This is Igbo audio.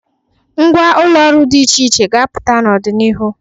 Ngwa ụlọ ọrụ dị iche iche ga-apụta n'ọdịnihu.